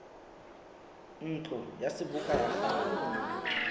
ntlo ya seboka ya kgale